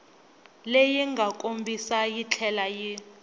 leyi nga kombisiwa yitlhela yi